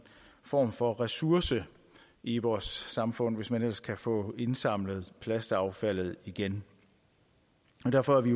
form for ressource i vores samfund hvis man ellers kan få indsamlet plastaffaldet igen derfor er vi